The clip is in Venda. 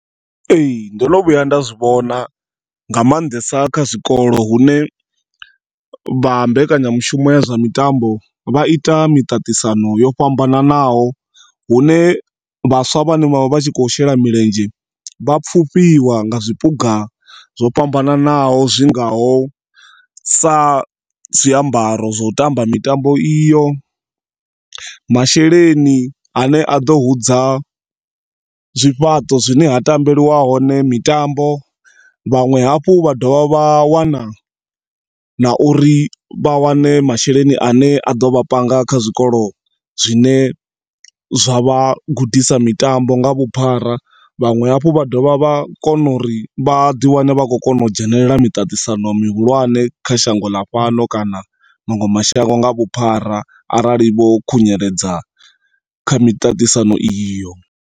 Ee, ndo no vhuya nda zwi vhona nga maanḓesa kha zwikolo hune vha mbekanyamushumo ya zwa mitambo vha ita miṱaṱisano yo fhambananaho hune vhaswa vhane vha vha vhatshi kho shela milenzhe vha pfufhiwa nga zwiphuga zwo fhambananaho zwingaho sa zwiambaro zwo tamba mitambo iyo, masheleni ane aḓo hudza zwifhaṱo zwine ha tambeliwa hone mitambo. Vhaṅwe hafhu vha dovha vha wana na uri vha wane masheleni ane aḓo vha panga kha zwikolo zwine zwa vha gudisa mitambo nga vhuphara vhanwe hafhu vha dovha vha kona uri vhaḓi wane vha kho kona u dzhenelela miṱaṱisano mihulwane kha shango ḽa fhano kana manwe mashango nga vhuphara arali vho khunyeledzakha miṱaṱisano iyo.